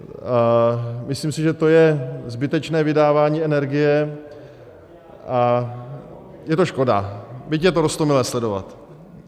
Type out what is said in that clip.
Myslím si, že to je zbytečné vydávání energie a je to škoda, byť je to roztomilé sledovat.